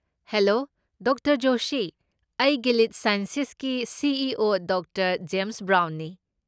Hello doctor Joshi. ꯑꯩ Gilead ꯁꯥꯏꯟꯁꯦꯁꯀꯤ CEO. Doctor James ꯕ꯭ꯔꯥꯎꯟꯅꯤ꯫